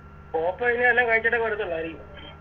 പോപ്പോ ഇനി വല്ലതും കഴിച്ചിട്ടൊക്കെയേ വരത്തൊള്ളരിക്കും